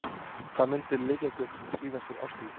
Hvað myndi lyfjagjöfin þýða fyrir Ásthildi?